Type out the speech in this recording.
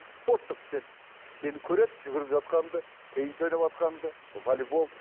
спорттық іспен сені көреді жүгіріп жатқаныңды тенис ойнаватқаныңды волейбол